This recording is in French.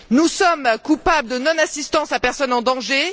Nous sommes coupables de non assistance à personne en danger.